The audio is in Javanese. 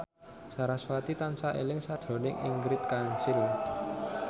sarasvati tansah eling sakjroning Ingrid Kansil